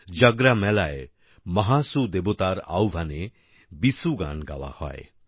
জাগরা মেলায় মহাসু দেবতার আহ্বানে বিসু গান গাওয়া হয়